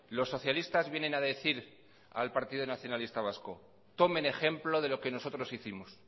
los socialistas vienen a decir al partido nacionalista vasco tomen ejemplo de lo que nosotros hicimos